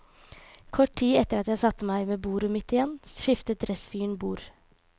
Kort tid etter at jeg satte meg ved bordet mitt igjen, skiftet dressfyren bord.